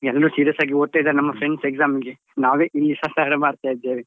ಎಲ್ರು serious ಆಗಿ ಓದ್ತಾ ಇದ್ದಾರೆ ನಮ್ಮ friends exam ಗೆ ನಾವೇ ಇಲ್ಲಿ ಸಸಾರ ಮಾಡ್ತಾ ಇದ್ದೇವೆ.